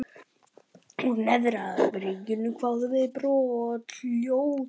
Úr neðra byrginu kváðu við brothljóð.